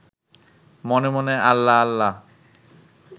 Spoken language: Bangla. মনে মনে আল্লাহ আল্লাহ